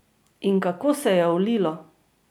In kako se je ulilo!